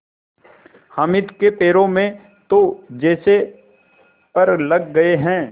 हामिद के पैरों में तो जैसे पर लग गए हैं